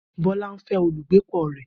Bola ń fẹ́ olùbágbépọ̀ rẹ̀